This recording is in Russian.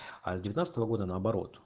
а с девятнадцатого года на оборот